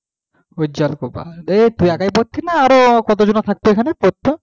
উজ্জ্বল কুমার, তুই একই পরতিস না আরও কতজনা থাকত এখানে পড়তো,